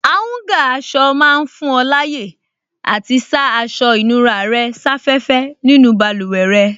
Áúngà aṣọ máa fún ọ láyè àti sá aṣọ ìnura rẹ̀ sáfẹ́fẹ́ nínú báluwẹ̀ rẹ